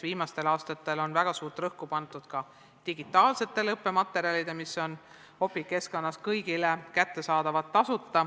Viimastel aastatel on väga suurt rõhku pandud ka digitaalsetele õppematerjalidele, mis on Opiq keskkonnas kõigile tasuta kättesaadavad.